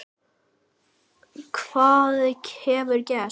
Hvað hefur gerst?